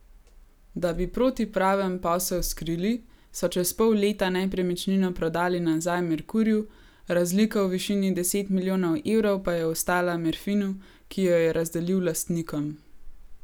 Da bi protipraven posel skrili, so čez pol leta nepremičnino prodali nazaj Merkurju, razlika v višini deset milijonov evrov pa je ostala Merfinu, ki jo je razdelil lastnikom.